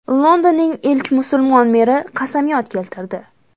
Londonning ilk musulmon meri qasamyod keltirdi.